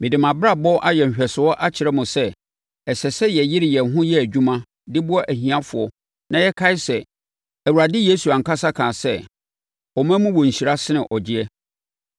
Mede mʼabrabɔ ayɛ nhwɛsoɔ akyerɛ mo sɛ, ɛsɛ sɛ yɛyere yɛn ho yɛ adwuma de boa ahiafoɔ na yɛkae sɛ, Awurade Yesu ankasa kaa sɛ, ‘Ɔma mu wɔ nhyira sene ɔgyeɛ.’ ”